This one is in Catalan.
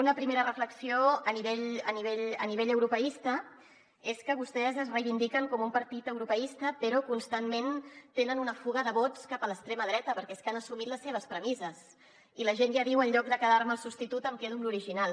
una primera reflexió a nivell europeista és que vostès es reivindiquen com un partit europeista però constantment tenen una fuga de vots cap a l’extrema dreta perquè és que han assumit les seves premisses i la gent ja diu en lloc de quedar me el substitut em quedo l’original